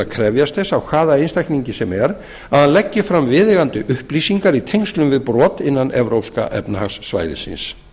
krefjast þess af hvaða einstaklingi sem er að hann leggi fram viðeigandi upplýsingar í tengslum við brot innan evrópska efnahagssvæðisins